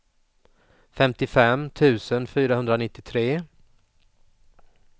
femtiofem tusen fyrahundranittiotre